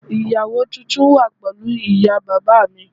Ìyàwó tuntun wà pẹ̀lú ìyá bàbá mi